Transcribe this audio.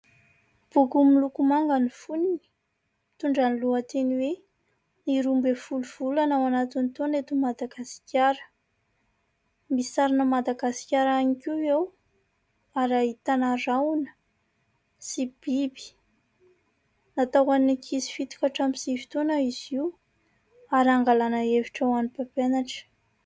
Boky miloko manga ny fonony, mitondra ny lohateny hoe:"ny roambinifolo volana ao anatin'ny taona eto Madagasikara" misy sarin'i Madagasikara ihany koa eo, ary ahitana rahona sy biby, natao ho an'ny ankizy fito hatramin'ny sivy toana izy io ary angalana hevitra ho an'ny mpampianatra.